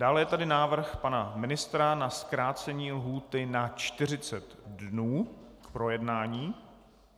Dále je tady návrh pana ministra na zkrácení lhůty na 40 dnů k projednání.